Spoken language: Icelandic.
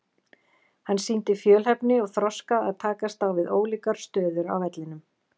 Hann sýndi fjölhæfni og þroska að takast á við ólíkar stöður á vellinum.